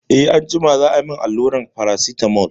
Eh anjima za a yi min alluran Paracetamol.